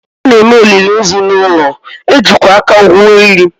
A na-eme olili ozu n’ụlọ, e jikwa aka gwuo ili